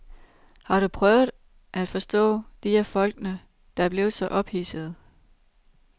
Har du prøvet at forstå de af folkene, der er blevet så ophidsede?